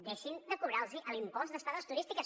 deixin de cobrar los l’impost d’estades turístiques